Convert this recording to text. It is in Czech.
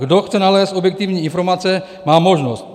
Kdo chce nalézt objektivní informace, má možnost.